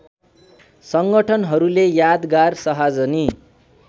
सङ्गठनहरूले यादगार शाहजनी